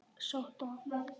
Sótt af